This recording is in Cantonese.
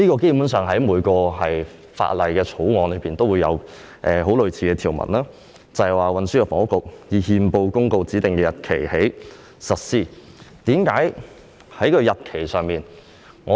基本上，每項法案均有訂定類似條文，現時討論的規定是由運輸及房屋局局長以憲報公告指定的日期開始實施。